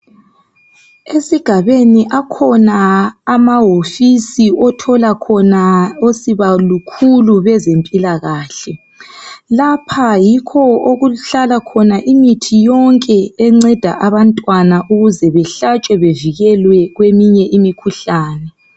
Esigabeni akhona amahofisi othola khona osibalukhulu bezempilakahle lapha yikho okuhlala khona imithi yonke enceda abantwana ukuze behlatshwe bevikelwe kweminye imkhuhlane.